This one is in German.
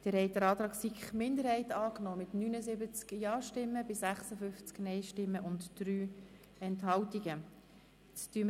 Sie haben den Antrag der SiK-Minderheit mit 79 Ja- gegen 56 Nein-Stimmen bei 3 Enthaltungen angenommen.